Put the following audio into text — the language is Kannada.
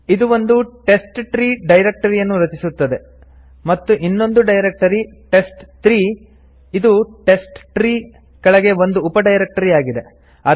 ಇದು ಒಂದು ಟೆಸ್ಟ್ಟ್ರೀ ಡೈರೆಕ್ಟರಿಯನ್ನು ರಚಿಸುತ್ತದೆ ಮತ್ತು ಇನ್ನೊಂದು ಡೈರೆಕ್ಟರಿ ಟೆಸ್ಟ್3 ಇದು ಟೆಸ್ಟ್ಟ್ರೀ ಕೆಳಗೆ ಒಂದು ಉಪ ಡೈರೆಕ್ಟರಿ ಆಗಿದೆ